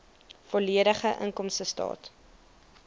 volledige inkomstestaat